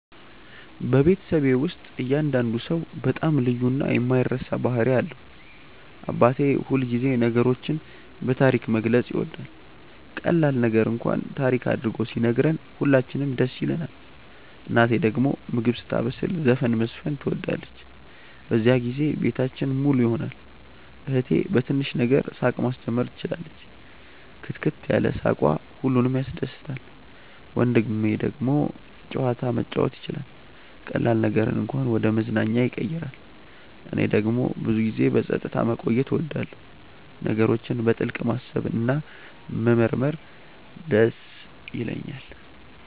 በቤተሰቤ ውስጥ እያንዳንዱ ሰው በጣም ልዩ እና የማይረሳ ባህሪ አለው። አባቴ ሁልጊዜ ነገሮችን በታሪክ መግለጽ ይወዳል፤ ቀላል ነገር እንኳን ታሪክ አድርጎ ሲነግረን ሁላችንም ደስ ይለንናል። እናቴ ደግሞ ምግብ ስታበስል ዘፈን መዝፈን ትወዳለች፤ በዚያን ጊዜ ቤታችን ሙሉ ይሆናል። እህቴ በትንሽ ነገር ሳቅ ማስጀመር ትችላለች፣ ክትክት ያለ ሳቅዋ ሁሉንም ያስደስታል። ወንድሜ ደግሞ ጨዋታ መጫወት ይችላል፤ ቀላል ነገርን እንኳን ወደ መዝናኛ ያቀይራል። እኔ ደግሞ ብዙ ጊዜ በጸጥታ መቆየት እወዳለሁ፣ ነገሮችን በጥልቅ ማሰብ እና መመርመር ይደስ ይለኛል።